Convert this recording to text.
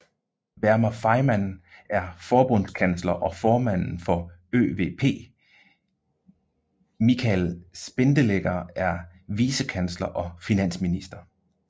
Werner Faymann er forbundskansler og formanden for ÖVP Michael Spindelegger er vicekansler og finansminister